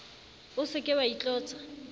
o se ke wa itlotsa